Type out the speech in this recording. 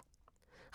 Radio 4